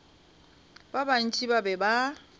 ba bantši ba be ba